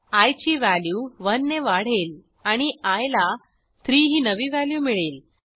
I ची value 1 ने वाढेल आणि आय ला 3 ही नवी व्हॅल्यू मिळेल